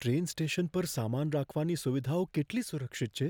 Train station પર સામાન રાખવાની સુવિધાઓ કેટલી સુરક્ષિત છે?